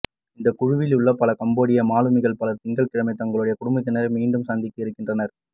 இந்த குழுவிலுள்ள பல கம்போடிய மாலுமிகள் பலர் திங்கள்கிழமை தங்களுடைய குடும்பத்தினரை மீண்டும் சந்திக்க இருக்கின்றனர்